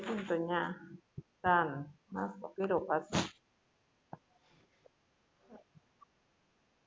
યા ચા ને નાસ્તો કર્યો પાછો